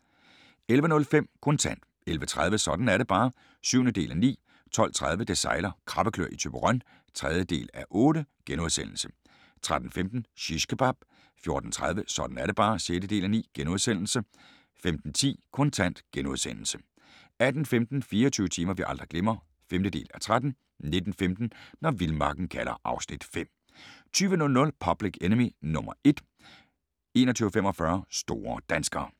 11:05: Kontant 11:30: Sådan er det bare (7:9) 12:30: Det sejler - krabbeklør i Thyborøn (3:8)* 13:15: Shishkebab 14:30: Sådan er det bare (6:9)* 15:10: Kontant * 18:15: 24 timer vi aldrig glemmer (5:13) 19:15: Når vildmarken kalder (Afs. 5) 20:00: Public Enemy No 1 21:45: Store danskere